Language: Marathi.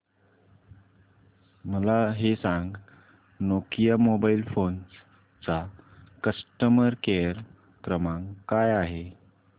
मला हे सांग नोकिया मोबाईल फोन्स चा कस्टमर केअर क्रमांक काय आहे